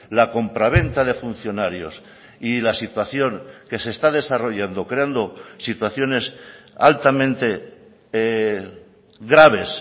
la compra venta de funcionarios y la situación que se está desarrollando creando situaciones altamente graves